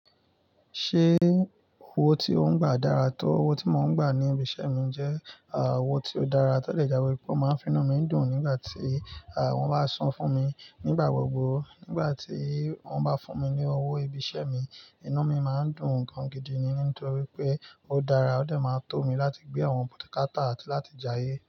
Ṣé owó tí ó ń gbà dára tó? Owó tí mò ń gbà ní ibi iṣẹ́ mi jẹ́ owó tí ó dára. To de jámo wipé ó máa ń finú mi dùn nígbà tí wọ́n bá san fún mi nígbà gbogbo. Nígbà tí wọ́n bá fún mi ní owó ibi iṣẹ́ mi, inú mi máa ń dùn gan gidi ni nítorí pé ó dára ó de máa ń tó mi láti gbé àwọn bukátà àti láti jayé.